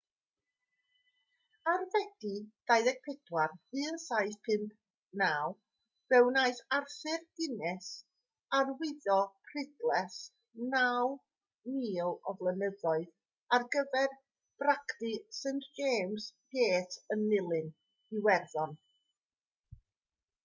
ar fedi 24 1759 fe wnaeth arthur guinness arwyddo prydles 9,000 o flynyddoedd ar gyfer bragdy st james' gate yn nulyn iwerddon